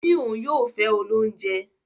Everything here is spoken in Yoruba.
O ni oun yoo fe olounje